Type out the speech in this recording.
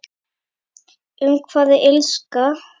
Um hvað er Illska?